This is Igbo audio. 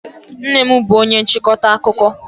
Nnem bú onye nchịkọta akụkọ.